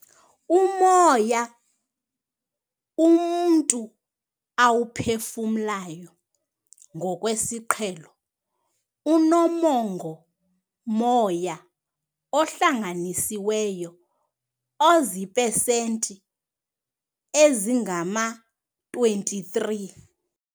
"Umoya umntu awuphefumlayo ngokwesiqhelo unomongo-moya ohlanganisiweyo oziipesenti ezingama-23."